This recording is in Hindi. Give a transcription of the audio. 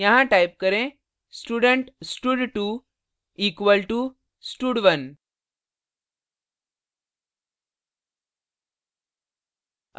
यहाँ type करें student stud2 equal to stud1